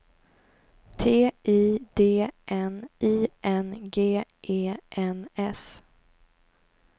T I D N I N G E N S